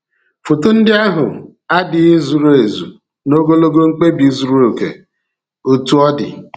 Foto ndị ahụ adịghị zuru ezu n’ogologo mkpebi zuru oke, otú ọ dị.